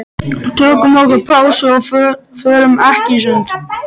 Tökum okkur pásu og förum í sund.